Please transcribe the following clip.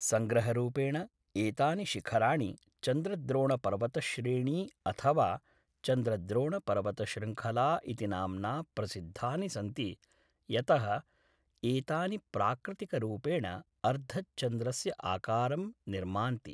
सङ्ग्रहरूपेण, एतानि शिखराणि चन्द्रद्रोणपर्वतश्रेणी अथवा चन्द्रद्रोणपर्वतशृङ्खला इति नाम्ना प्रसिद्धानि सन्ति यतः एतानि प्राकृतिकरूपेण अर्धचन्द्रस्य आकारं निर्मान्ति।